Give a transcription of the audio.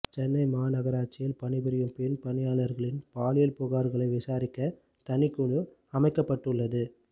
சென்னை மாநகராட்சியில் பணிபுரியும் பெண் பணியாளர்களின் பாலியல் புகார்களை விசாரிக்க தனிக்குழு அமைக்கப்பட்டுள்ளது